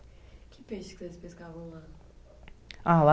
Que peixe que vocês pescavam lá? Ah lá